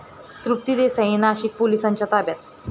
तृप्ती देसाई नाशिक पोलिसांच्या ताब्यात